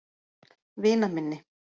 Vinaminni